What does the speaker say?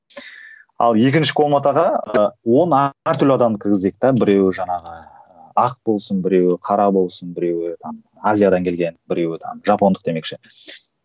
ал екінші комнатаға ы он әртүрлі адамды кіргізейікте біреуі жаңағы ақ болсын біреуі қара болсын біреуі там азиядан келген біреуі там жапондық демекші